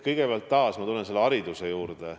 Kõigepealt ma tulen taas haridusteema juurde.